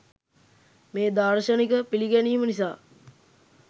මේ දාර්ශනික පිළිගැනීම නිසා